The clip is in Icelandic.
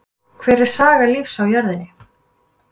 Hver er saga lífs á jörðinni?